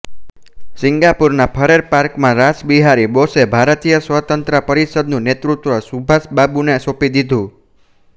સિંગાપુરના Farrer પાર્કમાં રાસબિહારી બોસે ભારતીય સ્વતંત્રતા પરિષદનું નેતૃત્વ સુભાષબાબુને સોંંપી દીધું